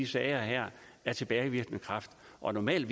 sager her af tilbagevirkende kraft og normalt